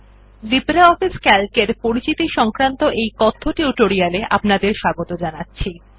LibreOffice CALC এর পরিচিতি সংক্রান্ত এই কথ্য টিউটোরিয়াল এ আপনাদের স্বাগত জানাচ্ছি